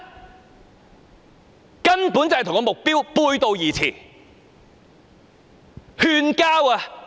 這根本與目標背道而馳。